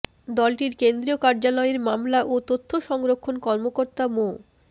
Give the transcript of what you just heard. দলটির কেন্দ্রীয় কার্যালয়ের মামলা ও তথ্য সংরক্ষণ কর্মকর্তা মো